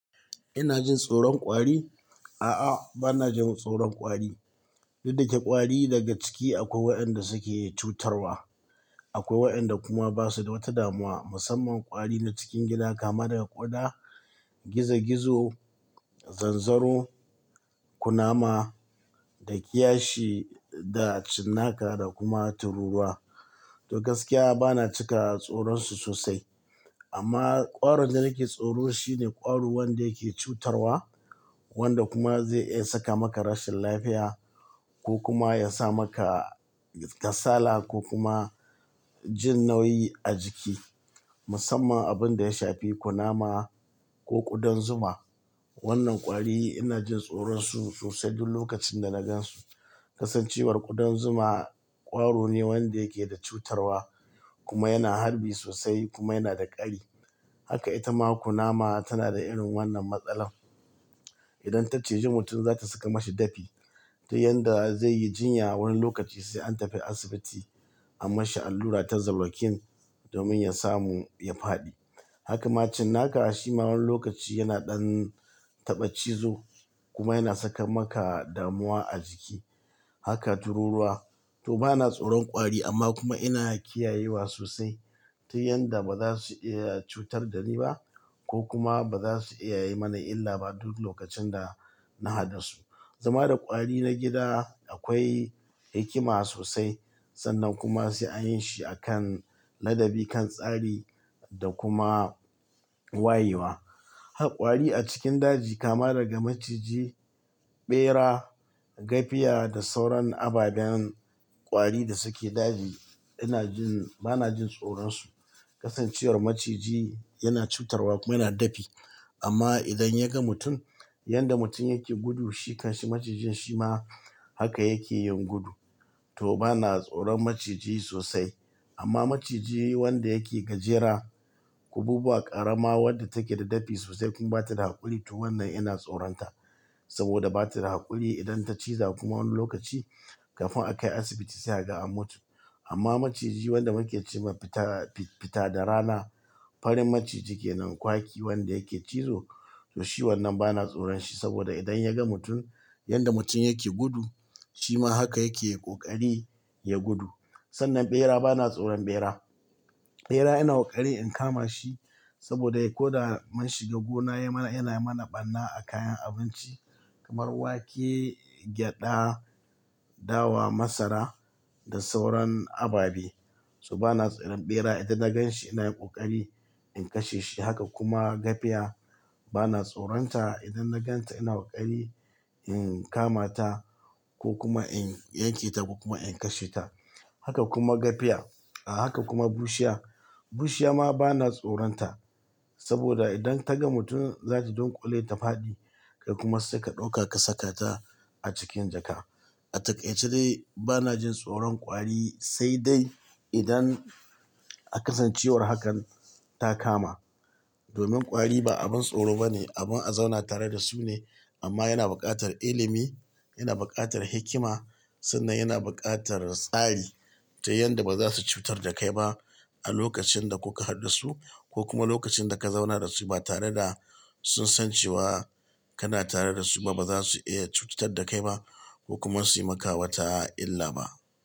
Ina jin tsoron kwari? A'a, bana jin tsoron kwari. Duk da ke ƙwari daga ciki akwai waɗanda suke cutarwa. Akwai waɗanda kuma basu da wata damuwa. Musamman kwari na cikin gida kama daga ƙuda, gizo gizo, zanzaro, kunama da kiyashi da cinnaka da kuma tururuwa. To gaskiya bana cika tsoronsu sosai. Amma ƙwarin da nake tsoro shine ƙwaro wanda yake cutarwa wanda kuma zai iya saka maka rashin lafiya ko kuma yasa maka kasala ko kuma jin nauyi a jiki. Musamman abunda ya shafi kunama ko ƙudan zuma. Wannan ƙwari ina jin tsoronsu sosai duk lokacin da nagan su. Kasancewar ƙudan zuma ƙwaro ne wanda yake da cutarwa kuma yana harbi sosai kuma yana da ƙari. Haka ita ma kunama tana da irin wannan matsalar. Idan ta cije mutum za ta saka mashi dafi. To yanda zai yi jinya wani lokaci sai an tafi asibiti a mashi allura ta zalokin domin ya samu ya faɗi. Haka ma cinnaka a shima wani lokaci yana ɗan taɓa cizo kuma yana saka maka damuwa a jiki. Haka tururuwa to bana tsoron kwari amma kuma ina kiyayewa sosai ta yanda baza su iya cutar da ni ba ko kuma baza su iya yi mana illa ba duk lokacin da na haɗu da su. Zama da kwari na gida akwai hikima sosai sannan kuma sai an yi shi a kan ladabi kan tsari da kuma wayewa. Har kwari a cikin daji kama daga maciji, ɓera, gafiya da sauran ababen kwari da suke daji. Ina jin-- bana jin tsoronsu. Kasancewar maciji yana cutarwa kuma yana dafi amma idan ya ga mutum, yanda mutum yake gudu shi kanshi macijin shi ma haka yake yin gudu. To bana tsoron maciji sosai. Amma maciji wanda yake gajera, kububuwa, ƙarama wadda take da dafi sosai kuma bata da haƙuri to wannan ina tsoronta. Saboda bata da haƙuri idan ta ciza kuma wani lokaci kafin a kai asibiti sai aga an mutu. Amma maciji wanda muke ce ma fita da rana, farin maciji ke nan kwaki wanda yake cizo to shi wannan bana tsoron shi saboda idan ya ga mutum yanda mutum yake gudu shi ma haka yake ƙoƙari ya gudu. Sannan ɓera bana tsoron ɓera. Ɓera ina ƙoƙari in kama shi saboda ko da mun shiga gona yana mana ɓarna a kayan abinci kamar wake, gyaɗa, dawa, masara da sauran ababe. To bana tsoron ɓera idan na gan shi ina yin ƙoƙari in kashe shi. Haka kuma gafiya bana tsoron ta. Idan na ganta ina ƙoƙari in kama ta ko kuma in yanke ta kuma in kashe ta. Haka kuma gafiya a haka kuma bushiya. Bushiya ma bana tsoron ta saboda idan ta ga mutum za ta donƙule ta faɗi kai kuma sai ka ɗauka ka saka ta a cikin jaka. A taƙaice dai bana jin tsoron kwari sai dai idan a kasancewar hakan ta kama. Domin kwari ba abin tsoro bane, abin a zauna tare da su ne amma yana buƙatar ilimi, yana buƙatar hikima sannan yana buƙatar tsari ta yanda baza su cutar da kai ba a lokacin da kuka haɗu da su ko kuma lokacin da ka zauna da su ba tare da sun san cewa kana tare da su ba baza su iya cutar da kai ba ko kuma su yi maka wata illa ba.